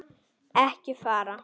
Ekki fara.